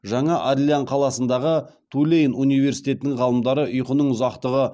жаңа орлеан қаласындағы тулейн университетінің ғалымдары ұйқының ұзақтығы